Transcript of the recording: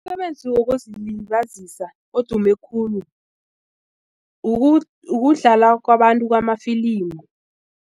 Umsebenzi wokuzilibazisa odume khulu ukudlala kwabantu kwamafilimi.